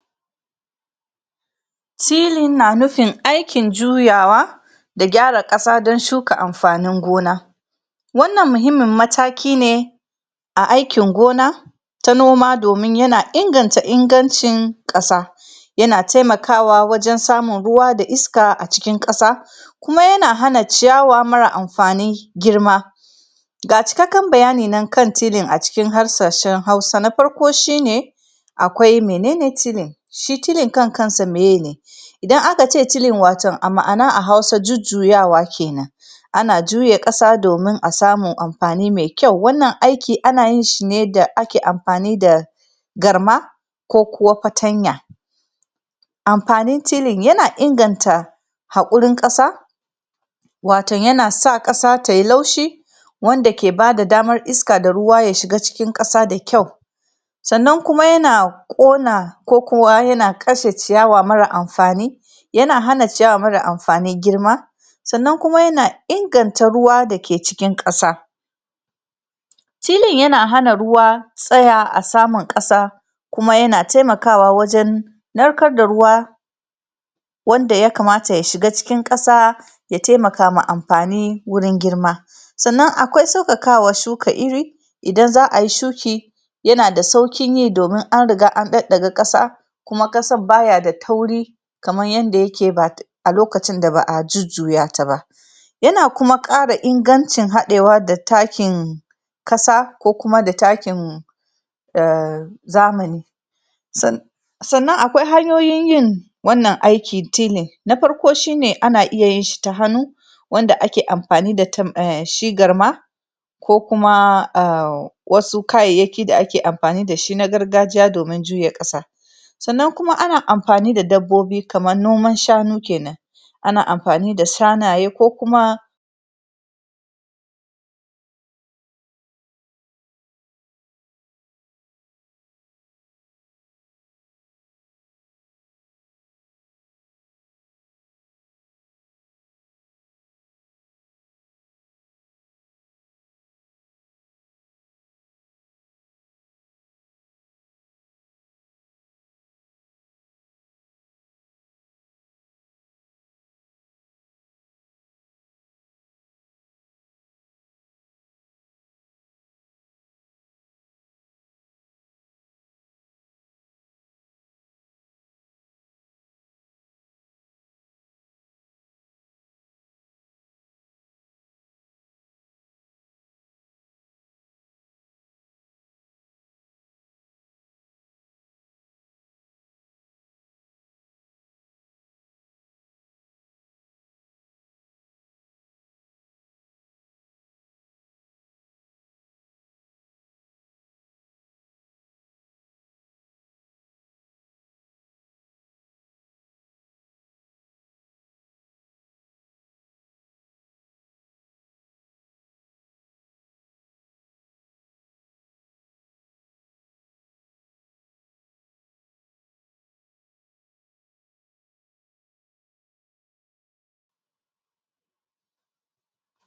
Tilling na nufin aikin juyawa da gyara ƙasa don shuka amfanin gona. Wannan muhimmin mataki ne A aikin gona ta noma domin yana inganta ingancin ƙasa. Yana taimakawa wajen samun ruwa da iska a cikin ƙasa. kuma yana hana ciyawa marar amfani girma. Ga cikakken bayani nan kan Tilling a cikin harshen Hausa, na farko shi ne: Akwai mene ne Tilling, shi tilling kan kansa mene ne? Idan aka ce tilling a ma'ana a Hausa jujjuyawa ke nan. Ana juya ƙasa domin a samu amfani mai kyau. Wannan aiki ana yin shi ne da ake amfani da garma ko kuwa fatanya. Amfanin tilling yana inganta haƙurin ƙasa, wato yana sa ƙasa ta yi laushi, wanda ke ba da damar iska da ruwa ya shiga cikin ƙasa da kyau, sannan kuma yana ƙona ko kuwa yana kashe ciyawa marar amfani yana hana ciyawa marar amfani girma. sannan kuma yana inganta ruwa da ke cikin ƙasa. Tilling yana ruwa tsaya a saman ƙasa, kuma yana taimakawa wajen narkar da ruwa, wanda ya kamata ya shiga cikin ƙasa ya taimaka ma amfani gurin girma. sannan a kwai sauƙaƙawa shuka iri idan za ayi shuki yana da sauƙin yi domin an riga an ɗaɗɗaga ƙasa kuma ƙasar ba ya da tauri kamar yadda yake a lokacin da ba a jujjuya ta ba. yana kuma ƙara ingancin haɗewa da takin ƙasa ko kuma da takin, ah zamani sannan akwai hanyoyin yin wannan aiki na tilling, na farko ana iya yin shi ta hannu wanda ake amfani da shi garma ko kuma a wasu kayyayaki da ake amfani da su na gargajiya domin juya ƙasa. Sannan kuma ana amfani da dabbobi kamar noman shanu ke nan ana amfani da shanaye ko kuma